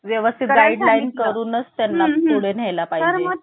एक Joke चा Part म्हणून एक पाकिस्तान आहे तर पाकिस्तानला भारतात समाविष्ट करून घ्यायच आहे आणि पाकिस्तान हे